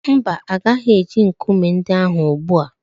Mba, ọ gaghị eji nkume ndị ahụ ugbu a.